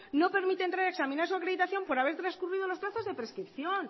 no permite entrar a examinar su acreditación por haber transcurrido los plazos de prescripción